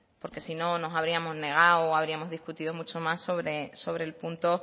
porque si no nos habríamos negado o habríamos discutido mucho más sobre el punto